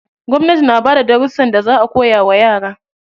Gwamnati na bada darussan da za a koya wa yara.